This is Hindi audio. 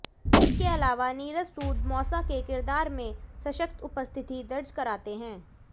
इसके अलावा नीरज सूद मौसा के किरदार में सशक्त उपस्थिति दर्ज कराते हैं